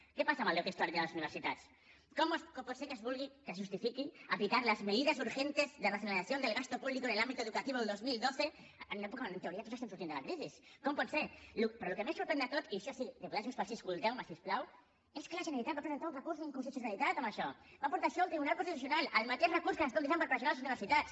què passa amb el deute històric de les universitats com pot ser que es justifiqui aplicar las medidas urgentes de racionalización del gasto público en el ámbito educativo del dos mil dotze en una època on en teoria tots estem sortint de la crisi com pot ser però el que més sorprèn de tot i això sí diputats de junts pel sí escolteu me si us plau és que la generalitat va presentar un recurs d’inconstitucionalitat contra això va portar això al tribunal constitucional el mateix recurs que s’utilitza per pressionar les universitats